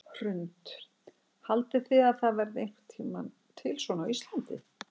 Hrund: Haldið þið að það verði einhvern tímann til svona á Íslandi?